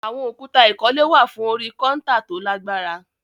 Àwọn òkúta ìkọ́lé wà fún orí kọ́ńtà tó lágbára